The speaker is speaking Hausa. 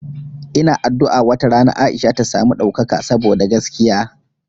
Ina addu'a wata rana Aisha ta samu ɗaukaka saboda gaskiya.